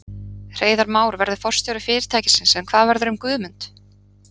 Hreiðar Már verður forstjóri fyrirtækisins en hvað verður um Guðmund?